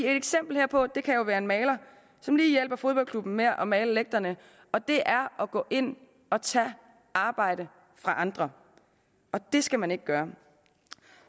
eksempel herpå kan være en maler som lige hjælper fodboldklubben med at male lægterne og det er at gå ind og tage arbejde fra andre og det skal man ikke gøre